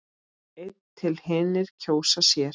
einn til hinir kjósa sér.